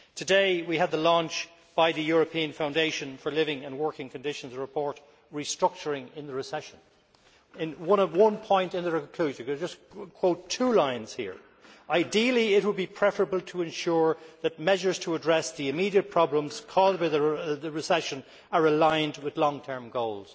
Today we had the launch by the European Foundation for Living and Working conditions of the report entitled Restructuring in the Recession If I could just quote two lines here Ideally it would be preferable to ensure that measures to address the immediate problems caused by the recession are aligned with long term goals'.